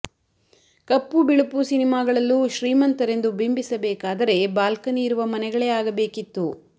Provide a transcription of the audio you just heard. ಕಪ್ಪು ಬಿಳುಪು ಸಿನಿಮಾಗಳಲ್ಲೂ ಶ್ರೀಮಂತರೆಂದು ಬಿಂಬಿಸಬೇಕಾದರೆ ಬಾಲ್ಕನಿ ಇರುವ ಮನೆಗಳೇ ಆಗಬೇಕಿತ್ತು